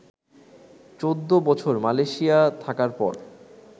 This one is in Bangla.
চৌদ্দ বছর মালয়েশিয়া থাকার পর